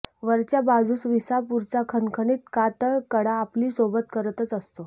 वरच्या बाजूस विसापूरचा खणखणीत कातळकडा आपली सोबत करतच असतो